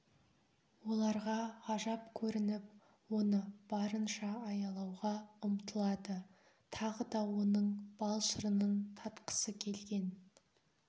оларға ғажап көрініп оны барынша аялауға ұмтылады тағы да оның бал-шырынын татқысы келген